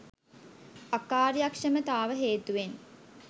අකාර්යක්ෂමතාව හේතුවෙන්